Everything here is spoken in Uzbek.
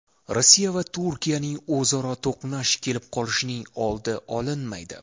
Rossiya va Turkiyaning o‘zaro to‘qnash kelib qolishining oldi olinmaydi.